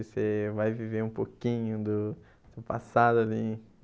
Você vai viver um pouquinho do seu passado ali.